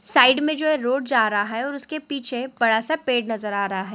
Side में जो है रोड जा रहा है और उसके पीछे बड़ा सा पेड़ नजर आ रहा है।